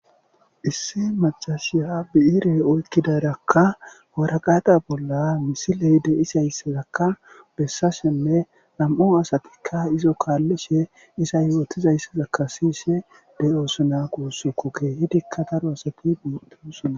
"Issi maccasiya bi7ire oyikidaaraka warakata bolla misile de7izayssazaka besashenne nam7u asatikka izo kaalishe iza yootizayisaka siyishe de7osona guusiko keehidika daro asati beetosona."